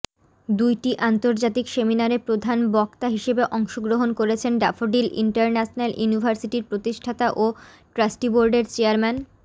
দুইটি আন্তর্জাতিক সেমিনারে প্রধান বক্তা হিসেবে অংশগ্রহণ করেছেন ড্যাফোডিল ইন্টারন্যাশনাল ইউনিভার্সিটির প্রতিষ্ঠাতা ও ট্রাস্টিবোর্ডের চেয়ারম্যান